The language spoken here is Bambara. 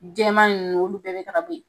Jama nunnu olu bɛɛ bɛ ta bo yen.